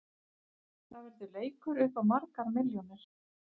Það verður leikur upp á margar milljónir.